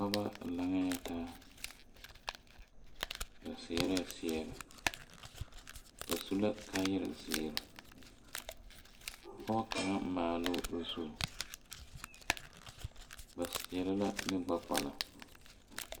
Pɔgebɔ laŋɛɛ taa ba seɛrɛɛ seɛre ba su la kaaya zèère pɔge kaŋa maal loo zu ba seɛrɛ la ne gbɛgbala.